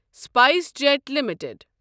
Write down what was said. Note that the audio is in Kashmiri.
spice jet limited